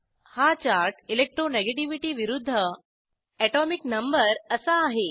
हा chart electronegativity विरूध्द atomic number असा आहे